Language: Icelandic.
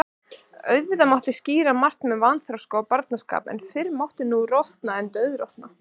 Auðvitað mátti skýra margt með vanþroska og barnaskap, en fyrr mátti nú rota en dauðrota.